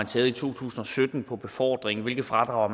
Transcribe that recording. taget i to tusind og sytten for befordring hvilke fradrag